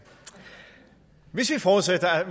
hvis vi forudsætter at